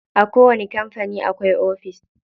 A kowani kampani akwai ofis.